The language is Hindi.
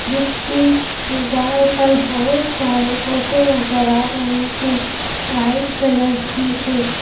जिसकी दीवार पर बहुत सारे फोटो नजर आ रहे हैं वाइट कलर की है।